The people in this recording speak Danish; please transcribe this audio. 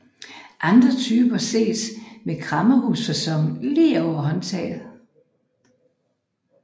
Andre typer ses med kræmmerhusfaçon lige over håndtaget